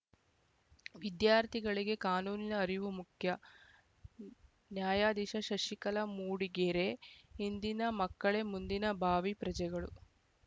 ವಿದ್ಯಾರ್ಥಿಗಳಿಗೆ ಕಾನೂನಿನ ಅರಿವು ಮುಖ್ಯ ನ್ಯಾಯಾಧೀಶ ಶಶಿಕಲಾ ಮೂಡಿಗೆರೆ ಇಂದಿನ ಮಕ್ಕಳೇ ಮುಂದಿನ ಭಾವೀ ಪ್ರಜೆಗಳು